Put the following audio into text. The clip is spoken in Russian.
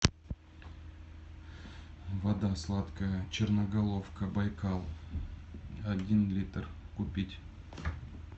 вода сладкая черноголовка байкал один литр купить